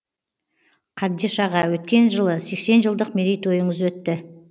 қабдеш аға өткен жылы сексен жылдық мерейтойыңыз өтті